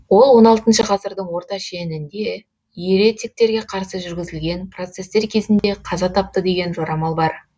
ол он алтыншы ғасырдың орта шешінде еретиктерге қарсы жүргізілген процестер кезінде қаза тапты деген жорамал бар